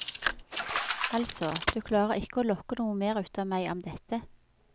Altså, du klarer ikke å lokke noe mer ut av meg om dette.